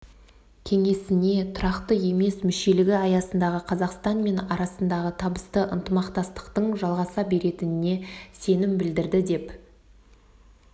кеңесіне тұрақты емес мүшелігі аясындағы қазақстан мен арасындағы табысты ынтымақтастықтың жалғаса беретініне сенім білдірді деп